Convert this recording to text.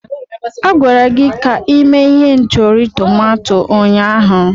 A gwara gị ka ime ihendori tomato ụnyaahụ.